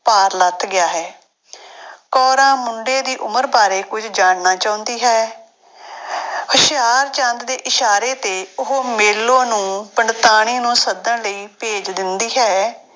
ਭਾਰ ਲੱਥ ਗਿਆ ਹੈ ਕੋਰਾਂ ਮੁੰਡੇ ਦੀ ਉਮਰ ਬਾਰੇ ਕੁੱਝ ਜਾਣਨਾ ਚਾਹੁੰਦੀ ਹੈ ਹੁਸ਼ਿਆਰਚੰਦ ਦੇ ਇਸ਼ਾਰੇ ਤੇ ਉਹ ਮੇਲੋ ਨੂੰ ਪੰਡਤਾਣੀ ਨੂੰ ਸੱਦਣ ਲਈ ਭੇਜ ਦਿੰਦੀ ਹੈ।